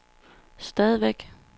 stadigvæk